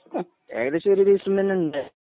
ഏകദേശം ഒരു ദിവസം തന്നെയുണ്ടായിരുന്നു